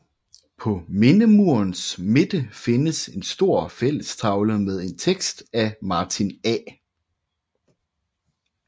På mindemurens midte findes en stor fællestavle med en tekst af Martin A